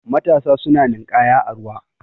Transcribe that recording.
matasa suna ninkaya a ruwa